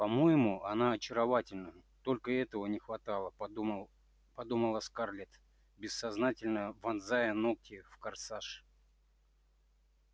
по-моему она очаровательна только этого не хватало подумал подумала скарлетт бессознательно вонзая ногти в корсаж